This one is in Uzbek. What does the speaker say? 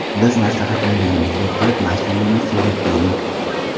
Biz maslahat berganimizdek qilib mashinani suratga oling.